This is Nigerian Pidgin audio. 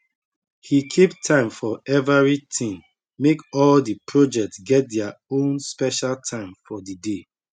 he keep time for everithing make all di project get their ownspecial time for di day